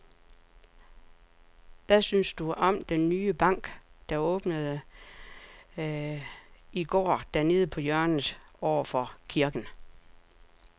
Hvad synes du om den nye bank, der åbnede i går dernede på hjørnet over for kirken?